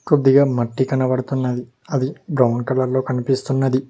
కొద్దిగా మట్టి కనపడుతున్నది అది బ్రౌన్ కలర్ లో కనిపిస్తున్నది.